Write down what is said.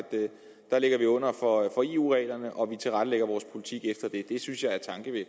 der ligger vi under for eu reglerne og vi tilrettelægger vores politik efter det det synes jeg er